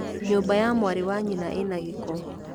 Nyũmba ya mwarĩ wa nyina ĩ na gĩko